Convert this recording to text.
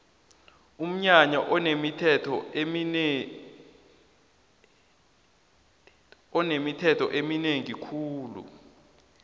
umnyanya wesikhethu unemithetho eminengi khulu